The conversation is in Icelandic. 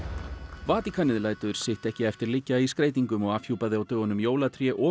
Vatíkanið lætur sitt ekki eftir liggja í skreytingum og afhjúpaði á dögunum jólatré og